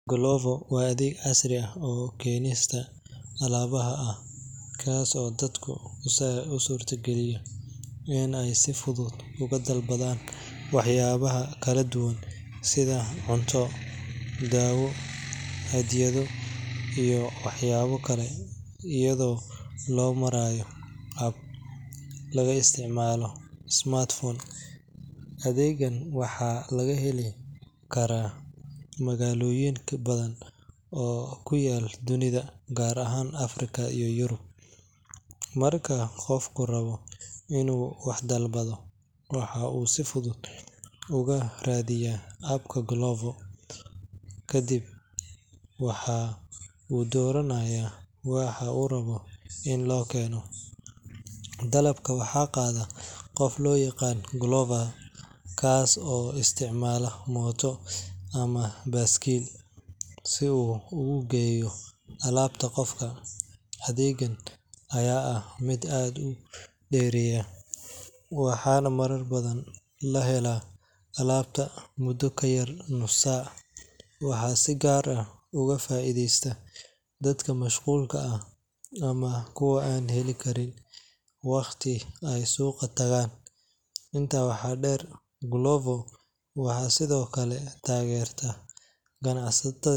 Glovo waa adeeg casri ah oo keenista alaabaha ah kaas oo dadka u suurtageliya in ay si fudud uga dalbadaan waxyaabo kala duwan sida cunto, dawo, hadiyado iyo waxyaabo kale iyadoo loo marayo app laga isticmaalo smartphone. Adeeggan waxaa laga heli karaa magaalooyin badan oo ku yaal dunida, gaar ahaan Afrika iyo Yurub. Marka qofku rabo inuu wax dalbado, waxa uu si fudud uga raadiyaa app-ka Glovo, ka dibna waxa uu dooranayaa waxa uu rabo in loo keeno. Dalabka waxaa qaada qof loo yaqaan Glover kaas oo isticmaala mooto ama baaskiil si uu ugu geeyo alaabta qofka. Adeeggan ayaa ah mid aad u dheereeya, waxaana marar badan la helaa alaabta muddo ka yar nus saac. Waxaa si gaar ah uga faa’iidaysta dadka mashquulka ah ama kuwa aan heli karin waqti ay suuqa tagaan. Intaa waxaa dheer, Glovo waxay sidoo kale taageertaa ganacsiyada.